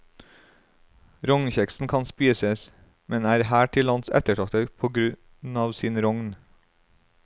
Rognkjeksen kan spises, men er her til lands ettertraktet kun på grunn av sin rogn.